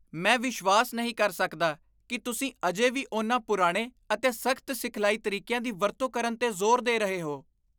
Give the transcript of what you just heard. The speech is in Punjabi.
ਮੈਂ ਵਿਸ਼ਵਾਸ ਨਹੀਂ ਕਰ ਸਕਦਾ ਕਿ ਤੁਸੀਂ ਅਜੇ ਵੀ ਉਨ੍ਹਾਂ ਪੁਰਾਣੇ ਅਤੇ ਸਖ਼ਤ ਸਿਖਲਾਈ ਤਰੀਕਿਆਂ ਦੀ ਵਰਤੋਂ ਕਰਨ 'ਤੇ ਜ਼ੋਰ ਦੇ ਰਹੇ ਹੋ!